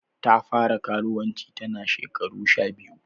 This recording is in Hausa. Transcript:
Ta fara karuwanci ta na shekara sha biyu.